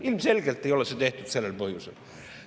Ilmselgelt ei ole see tehtud sellel põhjusel.